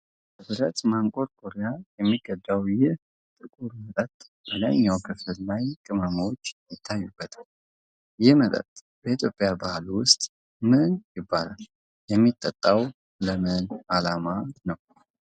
በብረት ማንቆርቆሪያ የሚቀዳው ይህ ጥቁር መጠጥ በላይኛው ክፍል ላይ ቅመሞች ይታዩበታል። ይህ መጠጥ በኢትዮጵያ ባህል ውስጥ ምን ይባላል? የሚጠጣውም ለምን ዓላማ ነው?